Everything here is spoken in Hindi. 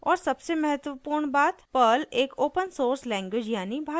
और सबसे महत्वपूर्ण बात पर्ल एक ओपन सोर्स लैंग्वेज यानी भाषा है